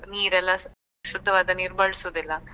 ನೀರೆಲ್ಲಾ ಶುದ್ಧವಾದ ನೀರ್ ಬಳುಸುದಿಲ್ಲ.